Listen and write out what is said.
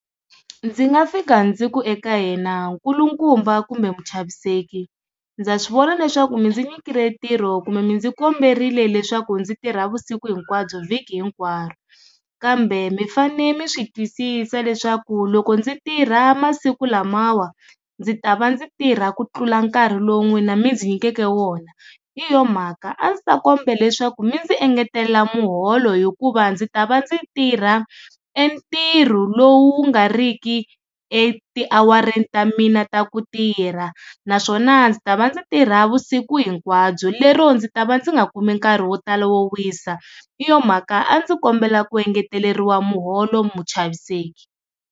Ndzi nga fika ndzi ku eka yena nkulukumba kumbe mu chaviseki ndza swivona leswaku mi ndzi nyikile ntirho kumbe mi ndzi komberile leswaku ndzi tirha vusiku hinkwabyo vhiki hinkwaro kambe mi fanele mi swi twisisa leswaku loko ndzi tirha masiku lamawa ndzi ta va ndzi tirha ku tlula nkarhi lowu n'wina mi ndzi nyikeke wona hi yona mhaka a ndzi ta kombela leswaku mi ndzi engetelela muholo hikuva ndzi ta va ndzi tirha entirho lowu nga riki eti-hour-reni ta mina ta ku tirha naswona ndzi ta va ndzi tirha navusiku hinkwabyo lero ndzi ta va ndzi nga kumi nkarhi wo tala wisa hi yo mhaka a ndzi kombela ku engeteriwa muholo muchaviseki.